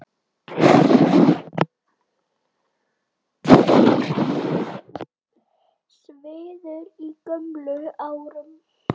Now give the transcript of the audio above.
Svíður í gömlum sárum.